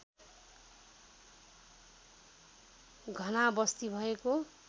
घना वस्ती भएको